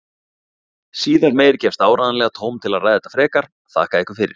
Síðar meir gefst áreiðanlega tóm til að ræða þetta frekar, þakka ykkur fyrir.